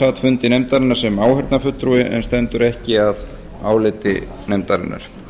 sat fundi nefndarinnar sem áheyrnarfulltrúi en stendur ekki að áliti nefndarinnar